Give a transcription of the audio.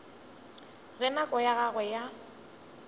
ge nako ya gagwe ya